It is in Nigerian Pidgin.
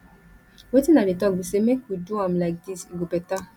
wetin i dey talk be say make we do am like dis e go beta.